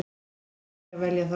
Við leyfum þér að velja það.